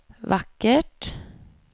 vackert